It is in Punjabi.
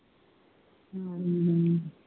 ਹਮ